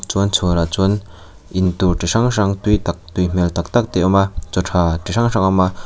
chuan chhuarah chuan intur chi hrang hrang tui tak tui hmel tak tak te a awm a chaw tha chi hrang hrang a awm a.